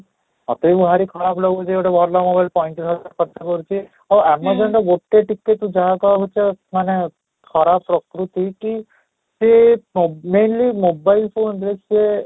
ମୋତେ ବି ଭାରି ଖରାପ ଲାଗୁଛି ଗୋଟେ ଭଲ mobile ପଞ୍ଚ ତିରିଶ ହଜାର ଖର୍ଚ୍ଚ କରିଛି, ଆଉ amazon ରେ ଗୋଟେ ଟିକେ ବି ତୁ ଯାହା କହ ପଛେ ମାନେ ଖରାପ ପ୍ରକୃତି କି କି mainly mobile phone ରେ ସିଏ